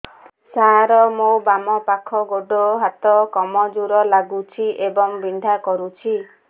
ସାର ମୋର ବାମ ପାଖ ଗୋଡ ହାତ କମଜୁର ଲାଗୁଛି ଏବଂ ବିନ୍ଧା କରୁଛି